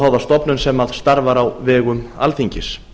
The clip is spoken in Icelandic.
óháða stofnun sem starfar á vegum alþingis